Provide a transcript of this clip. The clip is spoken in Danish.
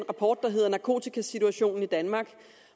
rapport der hedder narkotikasituationen i danmark